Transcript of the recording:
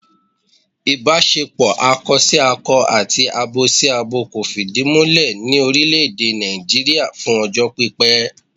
Ìbáṣepọ̀ akọsákọ àti abosábo kò fìdí múlẹ̀ ní orílẹ̀ èdè Nàìjíríà fún ọjọ́ pípẹ́